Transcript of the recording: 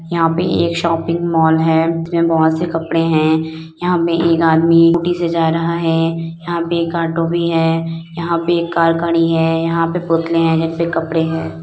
यहाँ पे एक शॉपिंग मॉल है जिसमें बहुत से कपड़े हैं यहाँ पे एक आदमी स्कूटी से जा रहा है यहाँ पे एक ऑटो भी है यहाँ पे एक कार खड़ी है यहाँ पे पुतले हैं जिसपे कपड़े हैं।